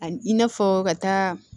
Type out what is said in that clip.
A i n'a fɔ ka taa